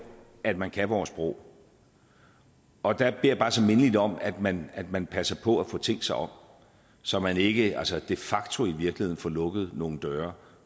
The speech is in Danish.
at man kan vores sprog og der jeg bare så mindeligt om at man at man passer på at få tænkt sig om så man ikke altså de facto i virkeligheden får lukket nogle døre